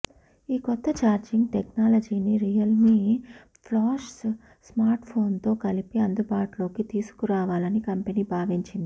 ఈ కొత్త ఛార్జింగ్ టెక్నాలజీని రియల్మీ ఫ్లాష్ స్మార్ట్ఫోన్తో కలిపి అందుబాటులోకి తీసుకురావాలని కంపెనీ భావించింది